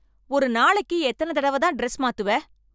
ஒரு நாளைக்கு எத்தனை தடவை தான் டிரஸ் மாத்துவ?